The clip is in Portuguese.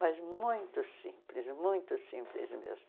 Mas muito simples, muito simples mesmo.